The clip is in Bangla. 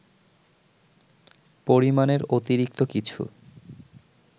পরিমাণের অতিরিক্ত কিছু